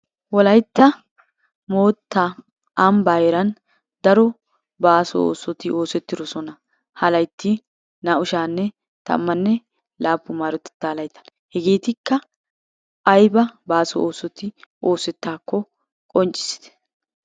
Wolaytta mootaa amba heeran daro baaso oosoti oosettidosona. Ha laytti naa'u sha'anne tammanne laappun maarotettaa laytaan. Hegeetikka aybba baaso oosoti oosetaako qonccisitte.